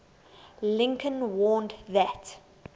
lincoln warned that